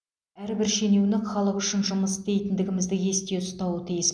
әрбір шенеунік халық үшін жұмыс істейтіндігімізді есте ұстауы тиіс